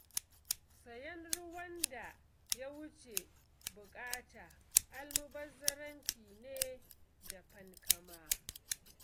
Sayen ruwan da ya wuce buƙata almubazzaranci ne da fankama.